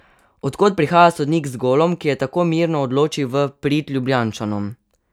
Od kod prihaja sodnik za golom, ki je tako mirno odločil v prid Ljubljančanom?